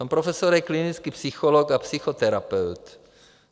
Pan profesor je klinický psycholog a psychoterapeut.